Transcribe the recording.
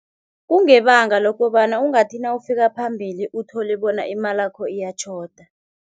Kungebanga lokobana ungathi nawufika phambili uthole bona imalakho iyatjhoda.